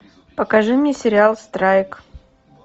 покажи мне сериал страйк